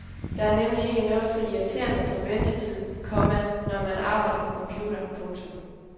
Der er nemlig ikke noget så irriterende som ventetid, komma når man arbejder på computer. punktum